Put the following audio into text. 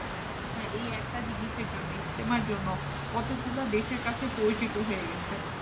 এই একটা জিনিসের জন্য। ইস্তেমার জন্য কত গুলা দেশের কাছে পরিচিত হয়ে গেছে।